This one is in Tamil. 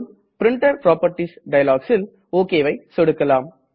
பிரின்டர் புராப்பர்ட்டீஸ் dialogல் OKவை சொடுக்கலாம்